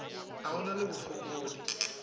a o na le bofokodi